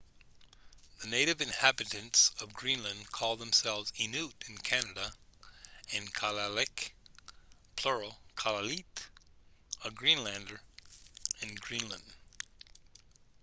the native inhabitants of greenland call themselves inuit in canada and kalaalleq plural kalaallit a greenlander in greenland